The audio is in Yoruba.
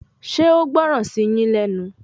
Ṣé o gbọ́ràn sí yín lẹ́nu